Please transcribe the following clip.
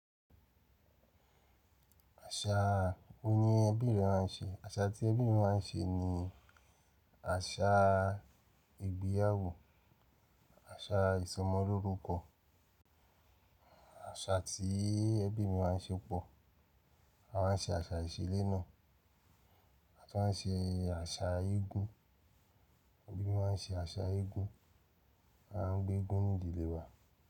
Àṣà, ó yin ẹbí rẹ máa ń ṣe. Àṣà tí ẹbí mi máa ń ṣe ni àṣà ìgbéyàwó, àṣà ìsọmọlórúkọ. Àṣà tí ẹbí mi máa ń ṣe pọ̀, a máa ń ṣe àṣà iṣile náà, a tún máa ń ṣe àṣà igún. Ẹbí máa ń ṣe àṣà igún, a ń gbé eégún ní ìdílé wa.